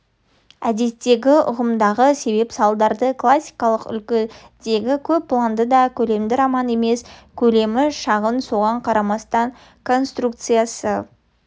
әдеттегі ұғымдағы себеп-салдарлы классикалық үлгідегі көп планды да көлемді роман емес көлемі шағын соған қарамастан конструкциясы